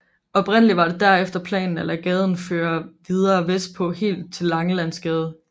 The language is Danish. Oprindeligt var det derefter planen at lade gaden føre videre vestpå helt til Langelandsgade